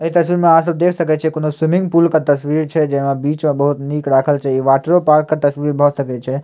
ए तस्वीर मे अहां सब देख सकय छीये कोन्हो स्विमिंग पूल के तस्वीर छै जेमा बीच में बहुत निक राखल छै ये वाटरपार्क के तस्वीर भ सकय छै।